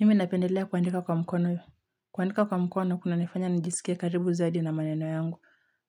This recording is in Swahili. Mimi napendelea kuandika kwa mkono. Kuandika kwa mkono, kunanifanya nijisikie karibu zaidi na maneno yangu.